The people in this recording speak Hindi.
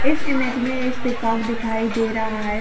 इस इमेज में एक पीकॉक दिखाई दे रहा है।